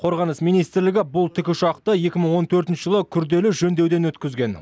қорғаныс министрлігі бұл тікұшақты екі мың он төртінші жылы күрделі жөндеуден өткізген